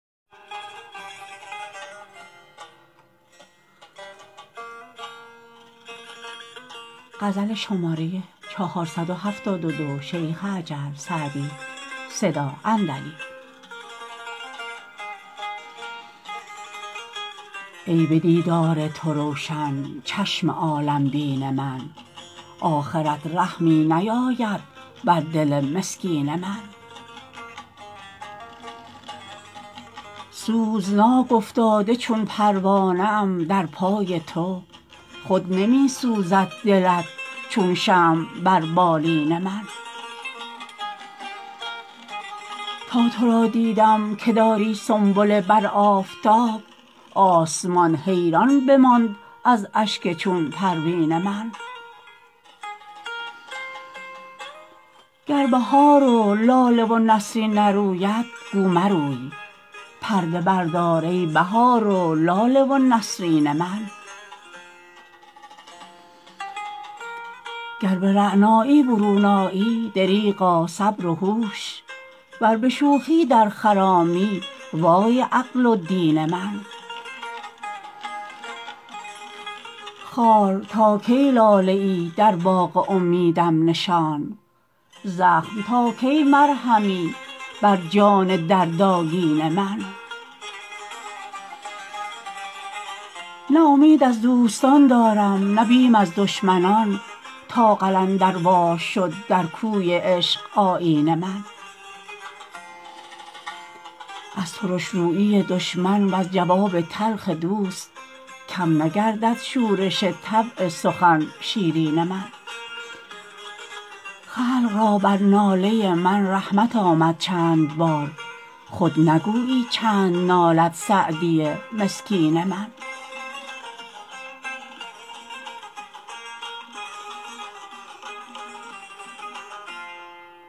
ای به دیدار تو روشن چشم عالم بین من آخرت رحمی نیاید بر دل مسکین من سوزناک افتاده چون پروانه ام در پای تو خود نمی سوزد دلت چون شمع بر بالین من تا تو را دیدم که داری سنبله بر آفتاب آسمان حیران بماند از اشک چون پروین من گر بهار و لاله و نسرین نروید گو مروی پرده بردار ای بهار و لاله و نسرین من گر به رعنایی برون آیی دریغا صبر و هوش ور به شوخی در خرامی وای عقل و دین من خار تا کی لاله ای در باغ امیدم نشان زخم تا کی مرهمی بر جان دردآگین من نه امید از دوستان دارم نه بیم از دشمنان تا قلندروار شد در کوی عشق آیین من از ترش رویی دشمن وز جواب تلخ دوست کم نگردد شورش طبع سخن شیرین من خلق را بر ناله من رحمت آمد چند بار خود نگویی چند نالد سعدی مسکین من